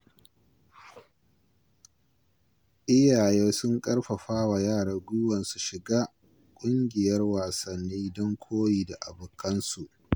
Iyaye sun karfafa wa yara guiwa su shiga kungiyar wasanni don koyi da abokansu.